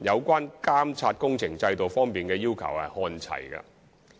有關監察工程制度方面的要求看齊。